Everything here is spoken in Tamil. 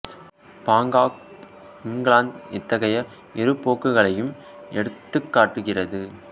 பாங்க் ஆஃப் இங்கிலாந்து இத்தகைய இரு போக்குகளையும் எடுத்துக் காட்டுகிறது